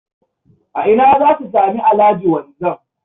A ina za su sami Alhaji Wanzam?